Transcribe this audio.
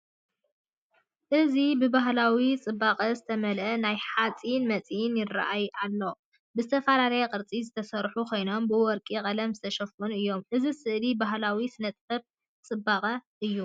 እዚ ብባህላዊ ጽባቐ ዝተመልአ ናይ ሓጺን መሳርሒታት ይረኣዩ ኣለው፤ ብዝተፈላለየ ቅርጺ ዝተሰርሑ ኮይኖም ብወርቂ ቀለም ዝተሸፈኑ እዮም። እዚ ስእሊ ባህላውን ስነ-ጥበባውን ጽባቐ እዩ።